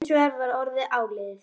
Hins vegar var orðið áliðið.